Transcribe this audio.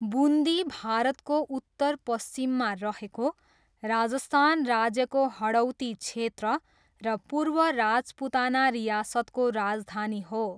बुन्दी भारतको उत्तरपश्चिममा रहेको राजस्थान राज्यको हडौती क्षेत्र र पूर्व राजपुताना रियासतको राजधानी हो।